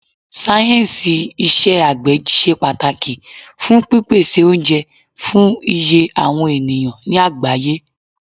Sáyẹ̀nsì iṣẹ́ àgbẹ̀ ṣe pàtàkì fún pípèsè oúnjẹ fún iye àwọn ènìyàn ní àgbáyé.